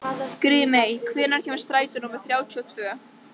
Grímey, hvenær kemur strætó númer þrjátíu og tvö?